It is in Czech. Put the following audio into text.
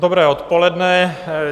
Dobré odpoledne.